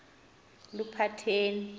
luphatheni